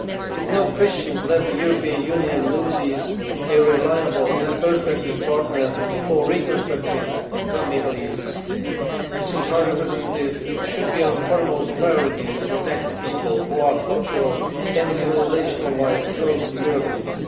With no Christians left, the European Union loses a reliable and perspective partner for reconstructing the Middle East. Madam High Representative, it should be our foremost priority to protect people who are culturally and civilisation wise close to Europeans.